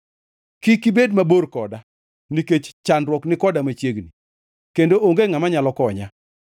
Kik ibed mabor koda, nikech chandruok ni koda machiegni, kendo onge ngʼama nyalo konya.